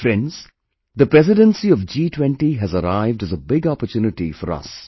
Friends, the Presidency of G20 has arrived as a big opportunity for us